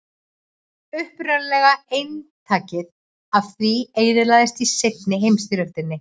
upprunalega eintakið af því eyðilagðist í seinni heimsstyrjöldinni